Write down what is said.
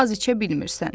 az içə bilmirsən.